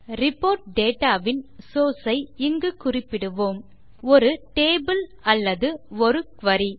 report data வின் source ஐ இங்கு குறிப்பிடுவோம் ஒரு டேபிள் அல்லது ஒரு குரி